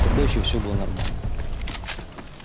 тогда ещё все было нормально